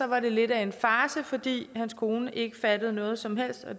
var det lidt af en farce fordi hans kone ikke fattede noget som helst af